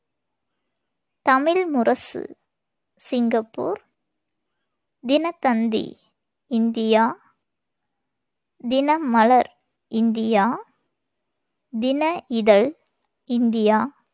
Tamil Murasu Singapore, Dinathanthi India, Dinamalar India, Dina Ithazh India,